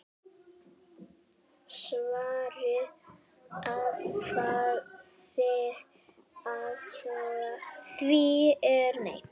Svarið við því er nei.